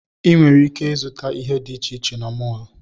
Ị nwere ike ịzụta ihe dị iche iche na mọọlụ.